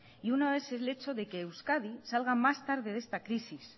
y uno es el hecho de que euskadi salga más tarde de esta crisis